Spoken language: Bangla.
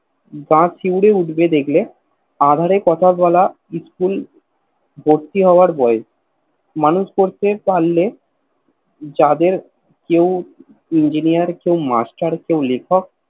গা শিউরে উঠবে দেখলে আধারে কথা বলা School ভর্তি হওয়ার বয়স মানুষ করতে পারলে যাদের কে Enginier কে Master কেও লেখক